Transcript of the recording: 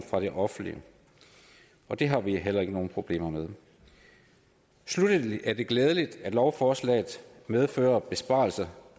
fra det offentlige og det har vi heller ikke nogen problemer med sluttelig er det glædeligt at lovforslaget medfører besparelser